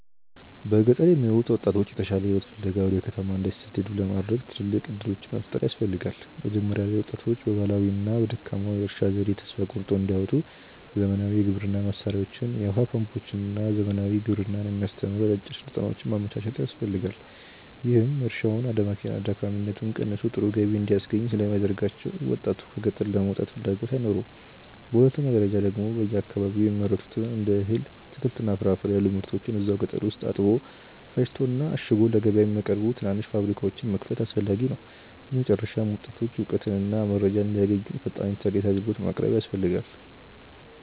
በገጠር የሚኖሩ ወጣቶች የተሻለ ሕይወት ፍለጋ ወደ ከተማ እንዳይሰደዱ ለማድረግ ትልልቅ ዕድሎች መፍጠር ያስፈልጋ። መጀመሪያ ላይ ወጣቶች በባህላዊውና በደካማው የእርሻ ዘዴ ተስፋ ቆርጠው እንዳይወጡ ዘመናዊ የግብርና መሣሪያዎችን፣ የውኃ ፓምፖችንና ዘመናዊ ግብርናን የሚያስተምሩ አጫጭር ሥልጠናዎችን ማመቻቸት ያስፈልጋል፤ ይህም እርሻውን አድካሚነቱ ቀንሶ ጥሩ ገቢ እንዲያስገኝ ስለሚያደርጋቸው ወጣቱ ከገጠር ለመውጣት ፍላጎት አይኖረውም። በሁለተኛ ደረጃ ደግሞ በየአካባቢው የሚመረቱትን እንደ እህል፣ አትክልትና ፍራፍሬ ያሉ ምርቶችን እዛው ገጠር ውስጥ አጥቦ፣ ፈጭቶና አሽጎ ለገበያ የሚያቀርቡ ትናንሽ ፋብሪካዎችን መክፈት አስፈላጊ ነው። በመጨረሻም ወጣቶች እውቀትና መረጃ እንዲያገኙ ፈጣን ኢተርኔት አግልግሎት ማቅረብ ያስፈልጋል